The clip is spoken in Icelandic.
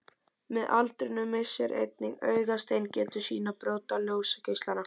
Með aldrinum missir einnig augasteinninn getu sína að brjóta ljósgeislana.